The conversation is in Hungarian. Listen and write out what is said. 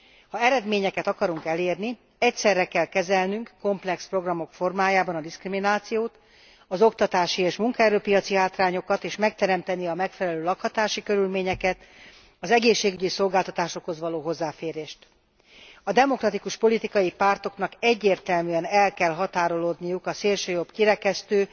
Ha eredményeket akarunk elérni, egyszerre kell kezelnünk komplex programok formájában a diszkriminációt, az oktatási és munkaerő piaci hátrányokat és megteremtenünk a megfelelő lakhatási körülményeket, az egészségügyi szolgáltatásokhoz való hozzáférést. A demokratikus politikai pártoknak egyértelműen el kell határolódniuk a szélsőjobb kirekesztő,